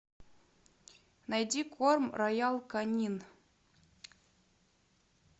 найди корм роял конин